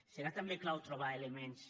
serà també clau trobar elements